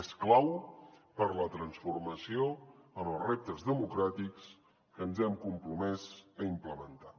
és clau per la transformació en els reptes democràtics que ens hem compromès a implementar